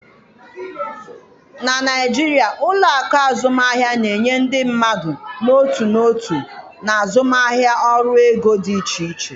Na Naijiria, ụlọ akụ azụmaahịa na-enye ndị mmadụ n'otu n'otu na azụmaahịa ọrụ ego dị iche iche.